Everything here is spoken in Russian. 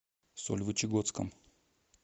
сольвычегодском